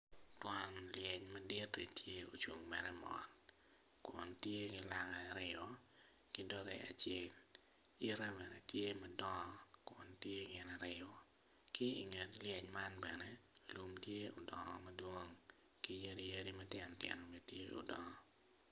Twon lyecci madit ocung mere mot kun tye ki langa aryo kidoge acel yite bene tye madong kun gitye gin aryo ki i nget lyec man bene lum tye odongo madwong ki yadi yadi matino tino tye odongo